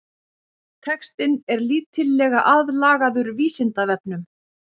Textinn er lítillega aðlagaður Vísindavefnum.